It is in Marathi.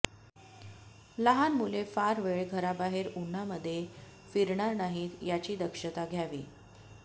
लहान मुले फार वेळ घराबाहेर उन्हामध्ये फिरणार नाहीत याची दक्षता घ्यावी